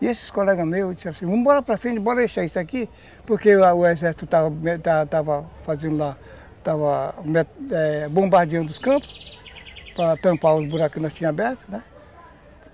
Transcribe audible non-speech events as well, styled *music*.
E esses colegas meus disseram assim, vamos embora para frente, bora deixar isso aqui, porque lá o exército estava estava *unintelligible* bombardeando os campos, para tampar os buracos que nós tínhamos abertos, né?